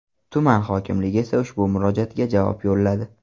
Tuman hokimligi esa ushbu murojaatga javob yo‘lladi.